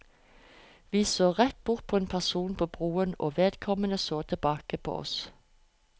Vi så rett bort på en person på broen, og vedkommende så tilbake på oss.